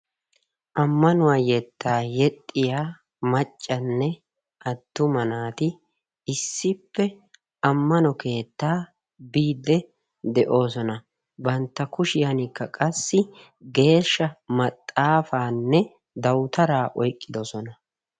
Ammanuwaa yettaa yexxiyaa maccanne attuma naati issippe ammano keettaa biidde de"oosona. Bantta kushshiyaankka qassi geeshsha meexaafanne dawutaraa eqqidoosona.